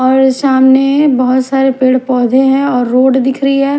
और सामने बहोत सारे पेड़ पौधे हैं और रोड दिख रही है।